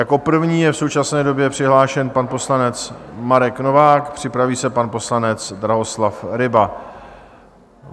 Jako první je v současné době přihlášen pan poslanec Marek Novák, připraví se pan poslanec Drahoslav Ryba.